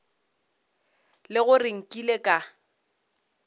e le gore nkile ka